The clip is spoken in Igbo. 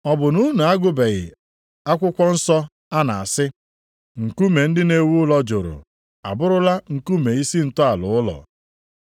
Ọ bụ na unu agụbeghị akwụkwọ nsọ a na-asị, “ ‘Nkume ndị na-ewu ụlọ jụrụ abụrụla nkume isi ntọala ụlọ.